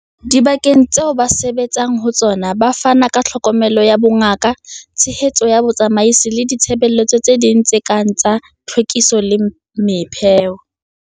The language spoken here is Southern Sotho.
Dibakeng tseo ba sebetsang ho tsona ba fana ka tlhokomelo ya bongaka, tshehetso ya botsamaisi le ditshebeletso tse ding tse kang tsa tlhwekiso le mepheo.